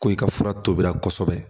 Ko i ka fura tobira kosɛbɛ